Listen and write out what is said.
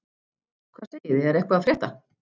Hvað segið þið, er eitthvað að frétta?